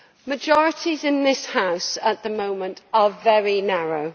Majorities in this house at the moment are very narrow.